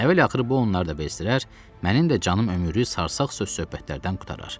Əvvəl-axırı bu onları da bezdirər, mənim də canım ömürlük sarsaq söz-söhbətlərdən qurtarar.